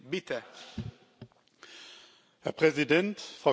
Herr Präsident, Frau Kommissarin, liebe Kolleginnen und Kollegen!